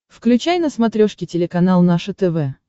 включай на смотрешке телеканал наше тв